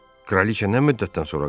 Kraliça nə müddətdən sonra qayıdıb?